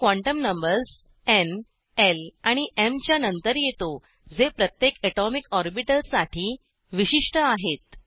हे quantum numbers न् ल आणि एम च्या नंतर येतो जे प्रत्येक अटॉमिक ऑर्बिटल साठी विशिष्ट आहेत